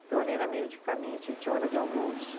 Então, ali era meio de caminho, tinha hora de almoço.